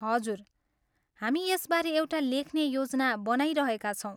हजुर, हामी यसबारे एउटा लेख्ने योजना बनाइरहेका छौँ।